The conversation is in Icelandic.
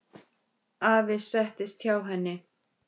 Afi settist hjá henni.